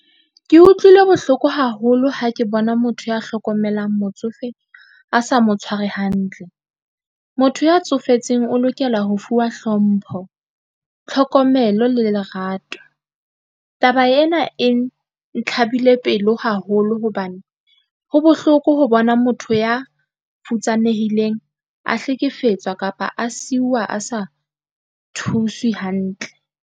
Ke utlwile bohloko haholo ha ke bona motho ya hlokomelang motsofe a sa mo tshware hantle. Motho ya tsofetseng o lokela ho fuwa hlompho, tlhokomelo le lerato. Taba ena e ntlha ebile pelo haholo hobane, ho bohloko ho bona motho ya futsanehileng a hlekefetswa kapa a seiwa a sa thuswe hantle.